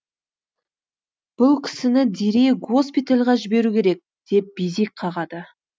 бұл кісіні дереу госпитальға жіберу керек деп безек қағады